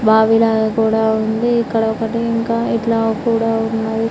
బావి లాగా కూడా ఉంది ఇక్కడ ఒకటి ఇంకా ఇట్లా కూడా ఉన్నది.